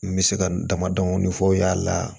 N bɛ se ka n damadɔnin fɔ o y'a la